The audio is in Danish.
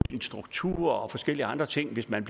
struktur og forskellige andre ting hvis man